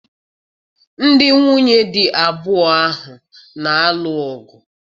Ndị nwunye di abụọ ahụ na-alụ ọgụ.